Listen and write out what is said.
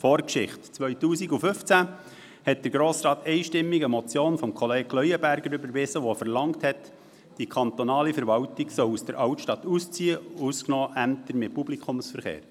Zur Vorgeschichte: 2015 überwies der Grosse Rat einstimmig eine Motion von Kollege Leuenberger, die verlangte, dass die kantonale Verwaltung aus der Altstadt ausziehen soll , ausgenommen Ämter mit Publikumsverkehr.